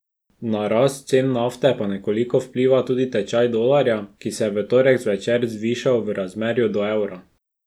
Na rast cen nafte pa nekoliko vpliva tudi tečaj dolarja, ki se je v torek zvečer zvišal v razmerju do evra.